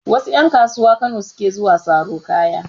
Wasu ƴan kasuwa Kano suke zuwa saro kaya.